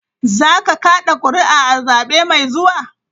Za ka kada kuri'a a zabe mai zuwa?